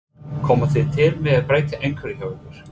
Komið þið til með að breyta einhverju hjá ykkur?